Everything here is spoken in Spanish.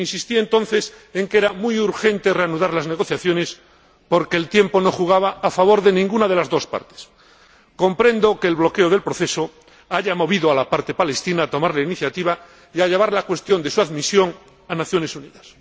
Insistí, entonces, en que era muy urgente reanudar las negociaciones porque el tiempo no jugaba a favor de ninguna de las dos partes. Comprendo que el bloqueo del proceso haya movido a la parte palestina a tomar la iniciativa y a llevar la cuestión de su admisión a las Naciones Unidas.